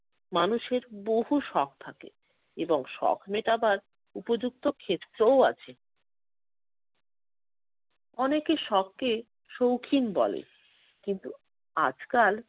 মানুষের বহু শখ থাকে এবং শখ মেটাবার উপযুক্ত ক্ষেত্রও আছে। অনেকে শখকে সৌখিন বলে। কিন্তু আজকাল